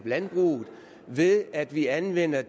landbruget ved at vi anvender